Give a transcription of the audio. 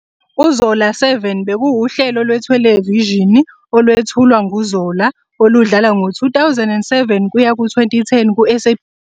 "UZola 7 bekuwuhlelo" lwethelevishini olwethulwa nguZola oludlala ngo-2002 kuya ku-2010 kuSABC1.